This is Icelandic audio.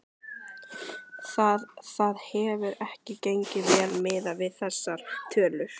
Það, það hefur ekki gengið vel miðað við þessar tölur?